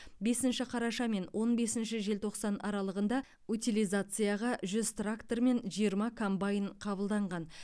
бесінші қараша мен он бесінші желтоқсан аралығында утилизацияға жүз трактор мен жиырма комбайн қабылданған